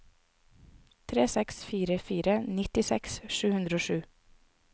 tre seks fire fire nittiseks sju hundre og sju